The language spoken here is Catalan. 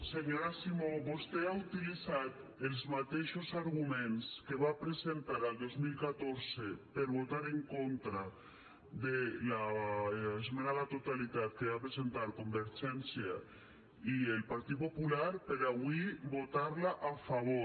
senyora simó vostè ha utilitzat els mateixos arguments que va presentar el dos mil catorze per votar en contra de l’esmena a la totalitat que van presentar convergència i el partit popular per avui votar la a favor